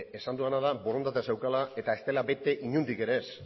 esan dudana da borondatea zeukala eta ez dela bete inondik ere ez